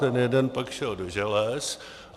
Ten jeden pak šel do želez.